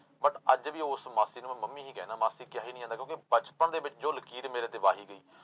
But ਅੱਜ ਵੀ ਉਸ ਮਾਸੀ ਨੂੰ ਮੈਂ ਮੰਮੀ ਹੀ ਕਹਿਨਾ, ਮਾਸੀ ਕਿਹਾ ਹੀ ਨੀ ਜਾਂਦਾ ਕਿਉਂਕਿ ਬਚਪਨ ਦੇ ਵਿੱਚ ਜੋ ਲਕੀਰ ਮੇਰੇ ਤੇ ਵਾਹੀ ਗਈ